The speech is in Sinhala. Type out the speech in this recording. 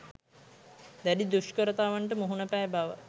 දැඩි දුෂ්කරතාවන්ට මුහුණ පෑ බව